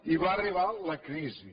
i va arribar la crisi